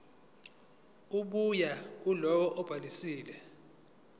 ebuya kulowo obhalisile